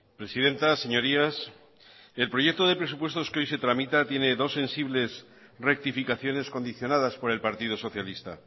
presidenta señorías el proyecto de presupuestos que hoy se tramita tiene dos sensibles rectificaciones condicionadas por el partido socialista